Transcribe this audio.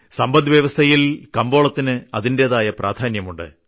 സമ്പദ്വ്യവസ്ഥയിൽ കമ്പോളത്തിന് അതിന്റേതായ പ്രാധാന്യമുണ്ട്